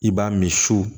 I b'a min su